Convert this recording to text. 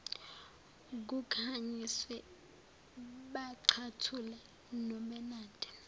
kukhanyiswe bacathula nobenade